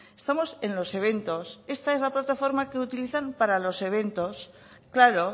estamos en los eventos esta es la plataforma que utilizan para los eventos claro